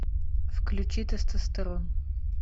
включи тестостерон